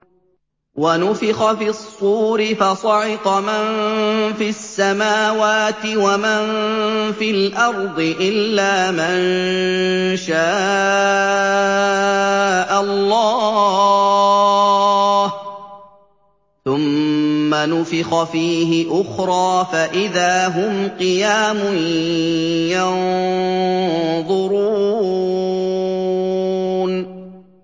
وَنُفِخَ فِي الصُّورِ فَصَعِقَ مَن فِي السَّمَاوَاتِ وَمَن فِي الْأَرْضِ إِلَّا مَن شَاءَ اللَّهُ ۖ ثُمَّ نُفِخَ فِيهِ أُخْرَىٰ فَإِذَا هُمْ قِيَامٌ يَنظُرُونَ